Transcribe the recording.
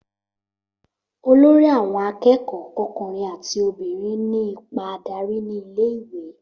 olórí àwon akékòó, ọkùnrin àti obìnrin ní ipa adarí ní ilé ìwé